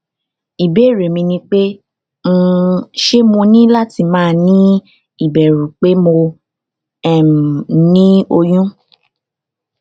ibeere mi ni pe um se mo ni lati ma ni iberu pe mo um ni oyun